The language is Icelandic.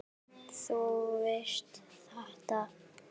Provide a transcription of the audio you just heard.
Þú veist þetta.